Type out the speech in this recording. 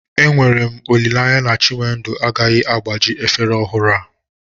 Enwere m olileanya na chinwendu agaghị agbaji efere ọhụrụ a